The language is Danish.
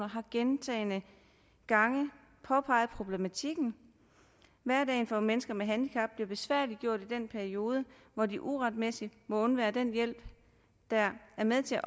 har gentagne gange påpeget problematikken hverdagen for mennesker med handicap bliver besværliggjort i den periode hvor de uretmæssigt må undvære den hjælp der er med til